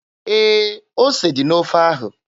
Ee, ose dị n'ofe ahụ.